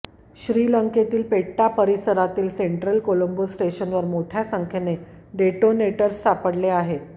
श्रीलंकेतील पेट्टा परिसरातील सेंट्रल कोलंबो स्टेशनवर मोठ्या संख्यने डेटोनेटर्स सापडले आहेत